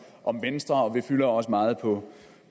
om venstre vi fylder også meget på